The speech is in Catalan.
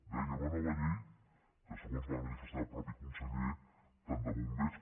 deia una nova llei segons va manifestar el mateix conseller tant de bombers